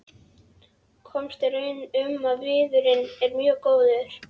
Komst að raun um að viðurinn er mjög góður.